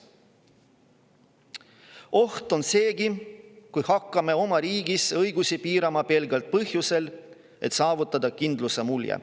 oht on seegi, kui hakkame oma riigis õigusi piirama pelgalt põhjusel, et saavutada kindluse mulje.